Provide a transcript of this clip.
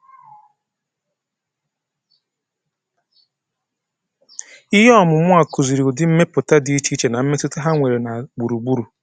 Ihe ọmụmụ a kụziri ụdị mmepụta dị iche iche na mmetụta ha nwere na gburugburu.